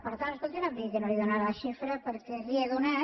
per tant escolti no em digui que no li n’he donat la xifra perquè la hi he donat